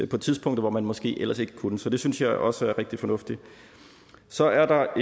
på tidspunkter hvor man måske ellers ikke kunne det så det synes jeg også er rigtig fornuftigt så er der